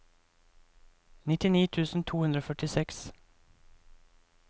nittini tusen to hundre og førtiseks